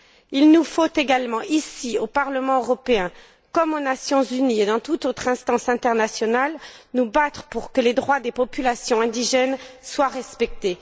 Il nous faut également, ici, au Parlement européen, comme aux Nations unies et dans toute autre instance internationale, nous battre pour que les droits des populations indigènes soient respectés.